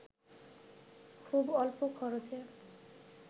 খুব অল্প খরচে